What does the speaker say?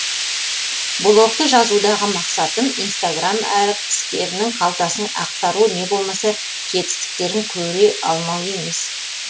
блогты жазудағы мақсатым инстаграм әртістерінің қалтасын ақтару не болмаса жетістіктерін көре алмау емес